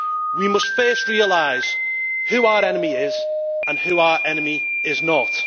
We must first realise who our enemy is, and who our enemy is not.